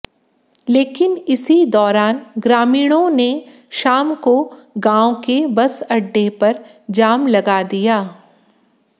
लेकिन इसी दौरान ग्रामीणों ने शाम को गांव के बस अड्डे पर जाम लगा दिया